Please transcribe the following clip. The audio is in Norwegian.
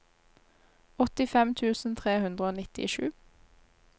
åttifem tusen tre hundre og nittisju